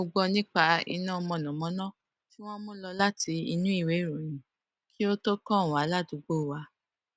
mo gbọ nípa iná mọnàmọná tí wọn mú lọ láti inú ìwé ìròyìn kí ó tó kàn wá ládùúgbò wa